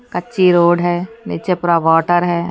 कच्ची रोड है नीचे पूरा वाटर है।